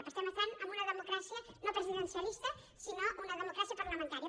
per tant estem en una democràcia no presidencialista en una democràcia parlamentària